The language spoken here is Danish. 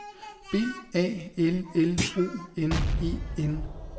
B A L L O N E N